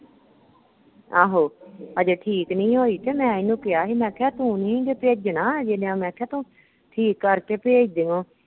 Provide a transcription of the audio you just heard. ਆਹੋ, ਅਜੇ ਠੀਕ ਨਹੀਂ ਹੋਈ ਤੇ ਮੈ ਇਹਨੂੰ ਕਿਹਾ ਮੈਂ ਕਿਹਾ ਤੂੰ ਨਹੀਂ ਜੇ ਭੇਜਣਾ ਮੈਂ ਕਿਹਾ ਤੂੰ ਠੀਕ ਕਰਕੇ ਭੇਜ ਦਿਉ।